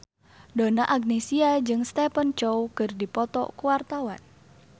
Donna Agnesia jeung Stephen Chow keur dipoto ku wartawan